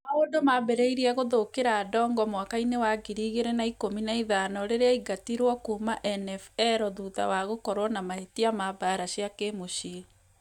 Maũndu maambĩrĩirie gũthũkĩra Adongo mwaka-inĩ wa ngiri igĩrĩ na ĩkũmi na ithano rĩrĩa aingatirwo kuuma NFL thutha wa gũkorwo na mahĩtia ma mbara cia kĩmũciĩ.